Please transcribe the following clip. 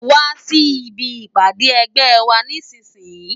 Wá si ibi ipàdé ègbè wà nìsísìyín